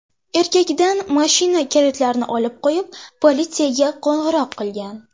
Erkakdan mashina kalitlarini olib qo‘yib, politsiyaga qo‘ng‘iroq qilgan.